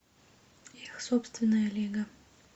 собственная лига